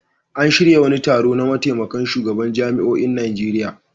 An shirya wani taro na mataimakan shugabannin jami'oin Najeriya.